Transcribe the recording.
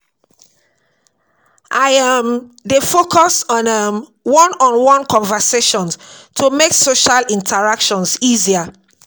I um dey focus on um one-on-one conversations to make social interactions easier.